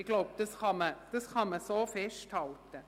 Das kann man meines Erachtens festhalten.